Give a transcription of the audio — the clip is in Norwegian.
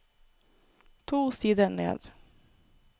To sider ned